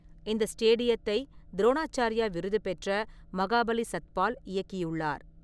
இந்த ஸ்டேடியத்தை துரோணாச்சார்யா விருது பெற்ற மகாபலி சத்பால் இயக்கியுள்ளார்.